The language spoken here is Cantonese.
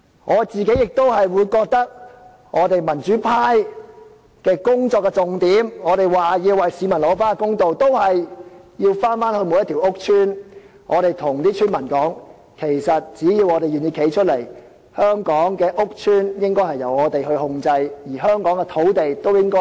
我個人認為，民主派的工作重點，就是要為市民討回公道，我們也是要回到每個屋邨，告訴居民只要願意站出來，香港的屋邨應該由我們控制，而香港的土地亦應該由我們作主。